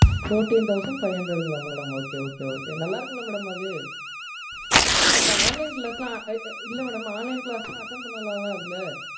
Fourteen thousand five hundred ங்களா madam? Okay, okay, okay. நல்லா இருக்கும்ல madam அது? இப்போ online class லாம் இல்ல madam. Online class லாம் attend பண்ணலாம்ல அதுல?